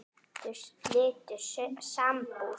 Þau slitu sambúð.